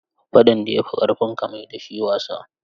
Faɗan da ya fi ƙarfinka, mai da shi wasa.